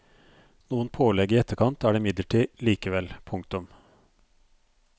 Noen pålegg i etterkant er det imidlertid likevel. punktum